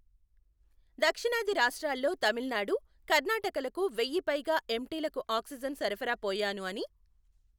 దక్షిణాది రాష్ట్రాల్లో తమిళనాడు, కర్ణాటకలకు వెయ్యి పైగా ఎంటీలకు ఆక్సిజన్ సరఫరా పోయాను అని.